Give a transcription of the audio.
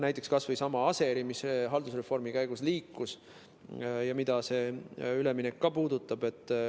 Näiteks, kas või seesama Aseri, mis haldusreformi käigus liikus ja mida see üleminek puudutab.